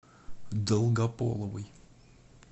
долгополовой